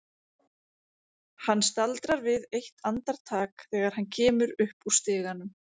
Hann staldrar við eitt andartak þegar hann kemur upp úr stiganum.